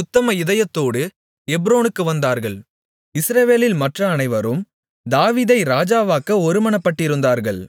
உத்தம இதயத்தோடு எப்ரோனுக்கு வந்தார்கள் இஸ்ரவேலில் மற்ற அனைவரும் தாவீதை ராஜாவாக்க ஒருமனப்பட்டிருந்தார்கள்